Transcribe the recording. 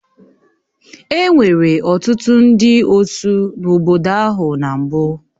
Enwere ọtụtụ ndị osụ n'obodo ahụ na mbụ